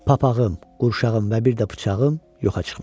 Papağım, qurşağım və bir də bıçağım yoxa çıxmışdı.